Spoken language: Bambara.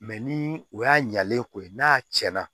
Mɛ ni o y'a ɲɛlen ko ye n'a cɛnna